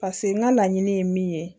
Paseke n ka laɲini ye min ye